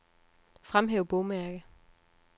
Fremhæv bogmærke.